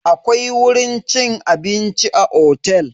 Akwai wurin cin abinci a otel.